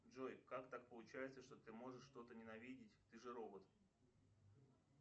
джой как так получается что ты можешь что то ненавидеть ты же робот